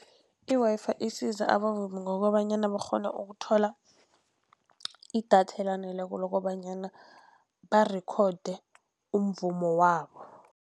I-Wi-Fi isiza abavumi ngokobanyana bakghone ukuthola idatha elaneleko, lokobanyana barikhode umvumo wabo.